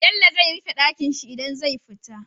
Bello zai rife Ɗakinshi idan zai fita